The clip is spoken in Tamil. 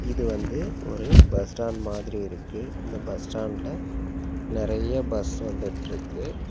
இது வந்து ஒரு பஸ் ஸ்டாண்ட் மாதிரி இருக்கு இந்த பஸ் ஸ்டாண்ட்ல நெறைய பஸ் வந்துட்ருக்கு.